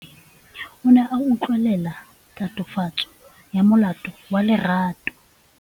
Moatlhodi o ne a utlwelela tatofatsô ya molato wa Lerato.